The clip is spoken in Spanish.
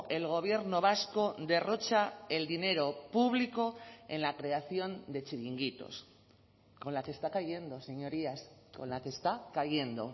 el gobierno vasco derrocha el dinero público en la creación de chiringuitos con la que está cayendo señorías con la que está cayendo